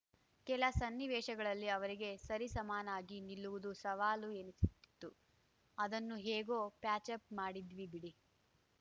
ಕೆಲ ಸನ್ನಿವೇಶಗಳಲ್ಲಿ ಅವರಿಗೆ ಸರಿ ಸಮಾನಾಗಿ ನಿಲ್ಲುವುದು ಸವಾಲು ಎನಿಸುತಿತ್ತು ಅದನ್ನು ಹ್ಯಾಗೋ ಪ್ಯಾಚಪ್‌ ಮಾಡಿದ್ವಿ ಬಿಡಿ